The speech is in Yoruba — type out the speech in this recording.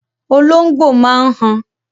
Olóngbò máa n han